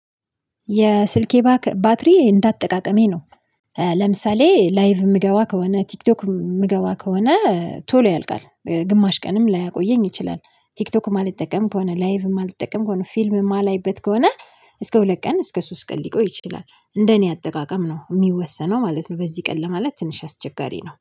የስልኬ ባክ ባትሪ እንዳ አጠቃቀሜ ነው። ለምሳሌ ላይቭ የምገባ ከሆነ ቲክቶክ የምገባ ከሆነ ቶሎ ያልቃል ግማሽ ቀንም ላያቆየኝ ይችላል። ቲክቶክ ማልጠቀም ከሆነ ላይቭ ማልጠቀም ከሆነ ፊልም የማላይበት ከሆነ። እስከ ሁለት ቀን እስከ ሶስት ቀን ሊቆይ ይችላል እንደ እኔ አጠቃቀም ነው የሚወሰነው ማለት ነው። በዚህ ቀን ለማለት ትንሽ አስቸጋሪ ነው